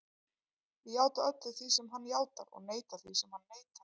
Ég játa öllu því sem hann játar og neita því sem hann neitar.